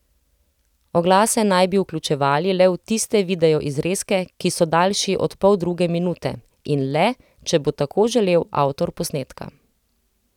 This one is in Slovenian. Oglase naj bi vključevali le v tiste videoizrezke, ki so daljši od poldruge minute, in le, če bo tako želel avtor posnetka.